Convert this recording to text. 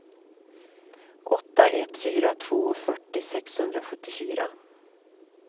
åtta ett fyra två fyrtio sexhundrasjuttiofyra